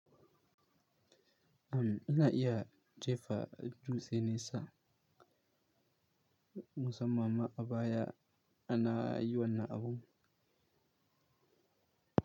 Am, ina iya jefa dutseni sa musamman ma a baya ana yi wannan abun.